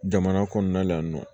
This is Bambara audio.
Jamana kɔnɔna la yan nɔ